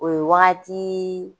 O ye wagati